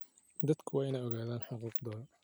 Dadku waa inay ogaadaan xuquuqdooda.